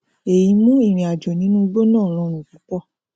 ẹyí mú ìrìnàjò nínú igbó náà rọrùn púpọ